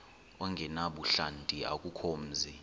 ongenabuhlanti akukho mzi